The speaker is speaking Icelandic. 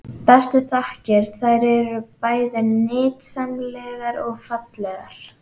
Bestu þakkir- þær eru bæði nytsamlegar og fallegar.